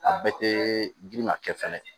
A bɛɛ tee girinma kɛ fɛnɛ